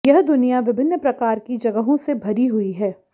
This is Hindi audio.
यह दुनिया विभिन्न प्रकार की जगहों से भरी हुई है